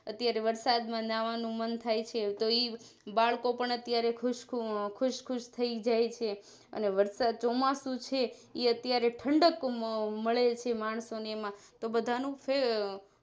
અત્યારે વરસાદ માં જાવાનું મન થાય છે તો ઈબાળકો પણ અત્યારે ખુશ ખુશ થઈ જાય છે અને વરસાદ ચોમાસું છે ઈઅત્યારે ઠંડક મળે છે માણસો ને એમાં બધાનું ફેર